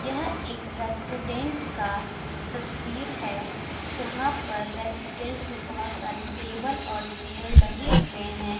यह एक रेस्टुरेंट का तस्वीर है जहाँ पर रेस्टुरेंट में बहुत सारे टेबल और चेयर लगे हुए हैं ।